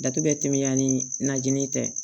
Datugu bɛɛ tɛmɛnya ni najini tɛ